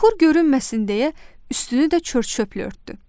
Çuxur görünməsin deyə, üstünü də çör-çöplə örtdü.